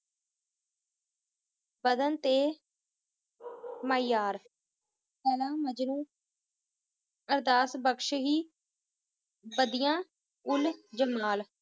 ਬਦਨ ਤੇ ਮਿਆਰ ਲੈਲਾ ਮਜਨੂ ਅਰਦਾਸ ਬਖਸ਼ਹੀ ਬਦਿਆ ਉੱਲ ਜਮਨਾਲ